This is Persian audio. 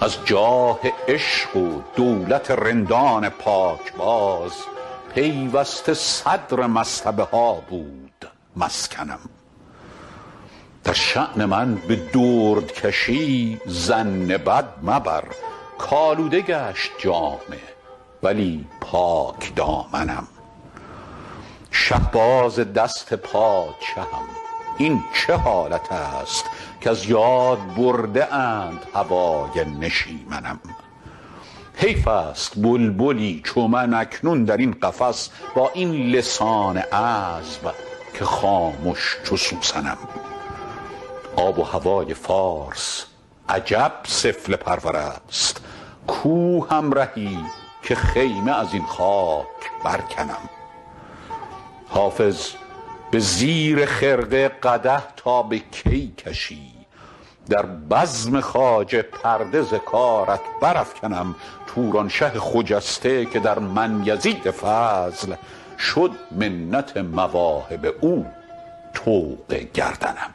از جاه عشق و دولت رندان پاکباز پیوسته صدر مصطبه ها بود مسکنم در شان من به دردکشی ظن بد مبر کآلوده گشت جامه ولی پاکدامنم شهباز دست پادشهم این چه حالت است کز یاد برده اند هوای نشیمنم حیف است بلبلی چو من اکنون در این قفس با این لسان عذب که خامش چو سوسنم آب و هوای فارس عجب سفله پرور است کو همرهی که خیمه از این خاک برکنم حافظ به زیر خرقه قدح تا به کی کشی در بزم خواجه پرده ز کارت برافکنم تورانشه خجسته که در من یزید فضل شد منت مواهب او طوق گردنم